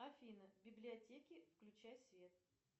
афина в библиотеке включай свет